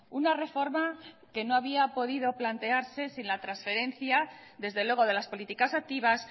una reforma que no había podido plantearse sin la transferencia desde luego de las políticas activas